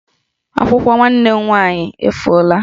Akwụkwọ nwanne m nwaanyị efuola